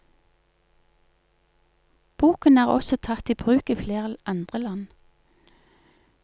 Boken er også tatt i bruk i flere andre land.